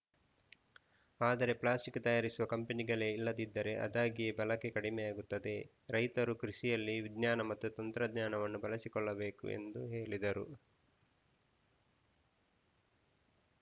ಆದರೆ ಪ್ಲಾಸ್ಟಿಕ್‌ ತಯಾರಿಸುವ ಕಂಪನಿಗಳೇ ಇಲ್ಲದಿದ್ದರೆ ಆದಾಗಿಯೇ ಬಳಕೆ ಕಡಿಮೆಯಾಗುತ್ತದೆ ರೈತರು ಕೃಷಿಯಲ್ಲಿ ವಿಜ್ಞಾನ ಮತ್ತು ತಂತ್ರಜ್ಞಾನವನ್ನು ಬಳಸಿಕೊಳ್ಳಬೇಕು ಎಂದು ಹೇಳಿದರು